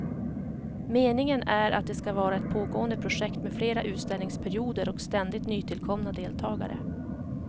Meningen är att det ska vara ett pågående projekt med fler utställningsperioder och ständigt nytillkomna deltagare.